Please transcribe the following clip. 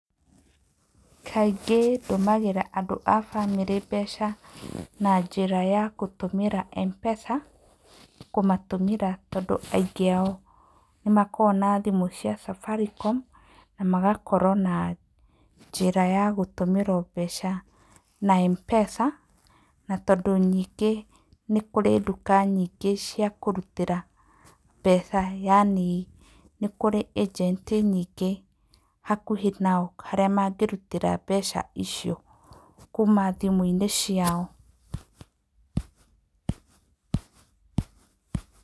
Kaingĩ ndũmagĩra andũ a famĩlĩ mbeca na njĩra ya gũtũmíra M-Pesa kũmatũmĩra tondũ aingĩ ao nĩ makoragwo na thimũ cia Safaricom na magakorwo na njĩra ya gũtũmĩrwo mbeca na M-Pesa. Na tondũ nyingĩ nĩ kũrĩ nduka nyingĩ cia kũrutĩra yaani nĩ kũrĩ Agent nyingĩ hakuhĩ nao harĩa mangĩrutĩra mbeca icio kuuma thimũ-inĩ ciao.